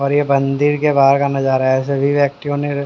और ये बंदिर के बाहर का नजारा है सभी व्यक्तियों ने--